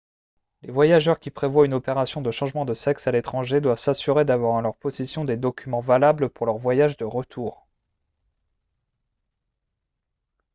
les voyageurs qui prévoient une opération de changement de sexe à l'étranger doivent s'assurer d'avoir en leur possession des documents valables pour leur voyage de retour